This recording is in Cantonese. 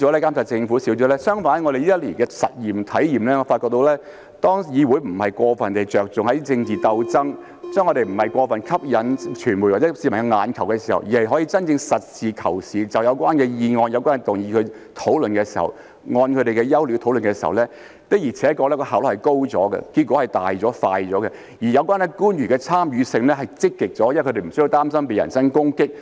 相反，根據我們這一年的體驗，我發覺到，當議會不是過分着重政治鬥爭，當我們不是過分為了吸引傳媒或市民的眼球的時候，而是可以真正實事求是，就有關的議案、有關的動議進行討論，按它們的優劣討論的時候，效率的確是高了，結果是大了、快了，而有關官員的參與性是積極了，因為他們不需要擔心被人身攻擊。